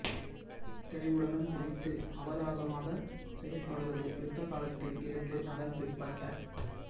தெளிவுடனும் குதித்து அவதாகமாகச் செயற்படுவது யுத்த காலத்தில் இருந்து அதன் பிற்பட்ட